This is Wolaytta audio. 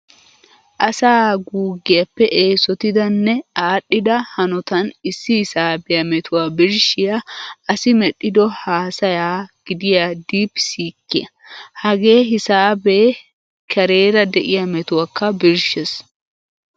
Asaa guuggiyappe eesotida nne aadhdhida hanotan issi hisaabiya metuwa birshshiya asi medhdhido haasaya gidiya diip siikkiya. Hagee hisaabeppe kareera de'iya metuwakka birshshees.